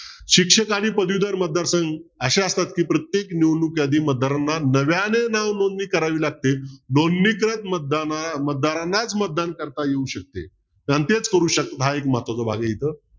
शिक्षक आणि पदवीधर मतदार संघ अशे असतात की प्रत्येक निवडणुकीच्या आधी मतदारांना नव्याने नाव नोंदणी करावी लागते. नोंदणीतच मतदारांनाच मतदान करता येऊ शकते हा एक महत्वाचा भाग आहे इथं